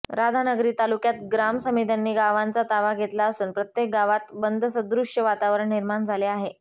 राधानगरी तालुक्यात ग्राम समित्यांनी गावांचा ताबा घेतला असून प्रत्येक गावात बंदसदृश्य वातावरण निर्माण झाले आहे